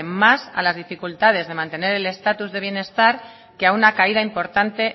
más a las dificultades de mantener el estatus de bienestar que a una caída importante